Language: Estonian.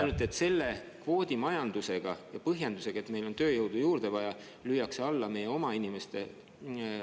Ainult et selle kvoodimajandusega ja põhjendusega, et meil on tööjõudu juurde vaja, lüüakse alla meie oma inimeste palgad …